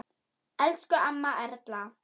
Elsku amma Erla.